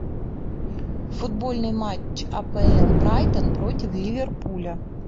футбольный матч апл брайтон против ливерпуля